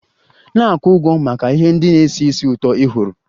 Na-akwụ ụgwọ maka ihe ndị na-esi ísì ụtọ ị họọrọ!